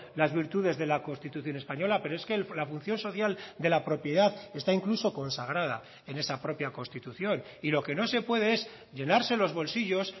las virtudes de la constitución española pero es que la función social de la propiedad está incluso consagrada en esa propia constitución y lo que no se puede es llenarse los bolsillos